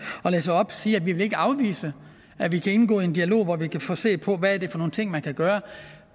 at læse op siger at vi ikke vil afvise at vi kan indgå i en dialog hvor vi kan se på hvad det er for nogle ting man kan gøre